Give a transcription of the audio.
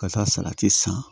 Ka taa salati san